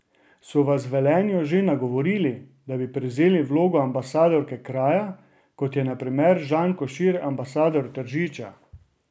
So vas v Velenju že nagovorili, da bi prevzeli vlogo ambasadorke kraja, kot je na primer Žan Košir ambasador Tržiča?